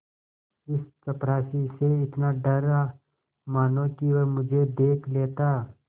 इस चपरासी से इतना डरा मानो कि वह मुझे देख लेता